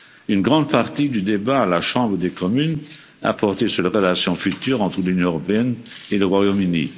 Une grande partie du débat à la Chambre des communes a porté sur les relations futures entre l'Union européenne et le Royaume Uni.